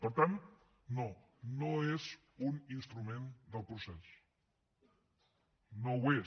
per tant no no és un instrument del procés no ho és